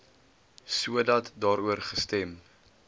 sodat daaroor gestem